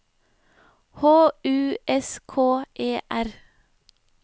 H U S K E R